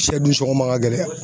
Siyɛ dun sɔngɔ ma ka gɛlɛya.